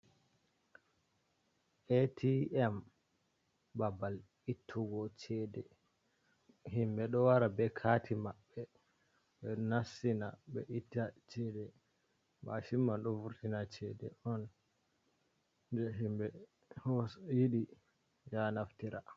Atm, babal ittugo ceede. Himɓe ɗo wara be kaati maɓɓe, ɓe nassina, ɓe itta ceede. Mashin man ɗo vurtina ceede on de himɓe hos yiɗi ya naftira.